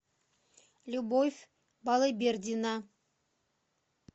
любовь балыбердина